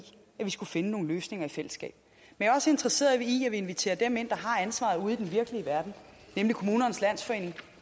at vi skulle finde nogle løsninger i fællesskab men er også interesseret i at vi inviterer dem ind der har ansvaret ude i den virkelige verden nemlig kommunernes landsforening og